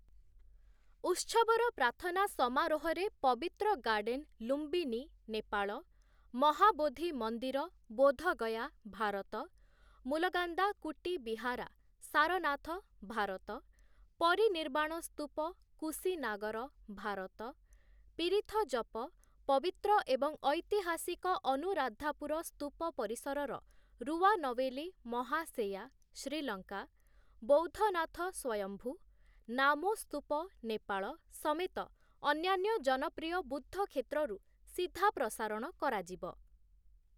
ଉତ୍ସବର ପ୍ରାର୍ଥନା ସମାରୋହରେ ପବିତ୍ର ଗାର୍ଡ଼େନ ଲୁମ୍ବିନୀ, ନେପାଳ, ମହାବୋଧି ମନ୍ଦିର, ବୋଧଗୟା, ଭାରତ, ମୁଲଗାନ୍ଦା କୁଟି ବିହାରା, ସାରନାଥ, ଭାରତ, ପରିନିର୍ବାଣ ସ୍ତୁପ, କୁସିନାଗର, ଭାରତ, ପିରିଥ ଜପ, ପବିତ୍ର ଏବଂ ଐତିହାସିକ ଅନୁରାଦ୍ଧାପୁର ସ୍ତୁପ ପରିସରର ରୁୱାନୱେଲି ମହା ସେୟା, ଶ୍ରୀଲଙ୍କା, ବୌଦ୍ଧନାଥ ସ୍ୱୟମ୍ଭୁ, ନାମୋ ସ୍ତୁପ, ନେପାଳ ସମେତ ଅନ୍ୟାନ୍ୟ ଜନପ୍ରିୟ ବୁଦ୍ଧ କ୍ଷେତ୍ରରୁ ସିଧା ପ୍ରସାରଣ କରାଯିବ ।